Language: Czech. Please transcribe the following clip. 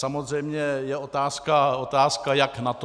Samozřejmě je otázka, jak na to.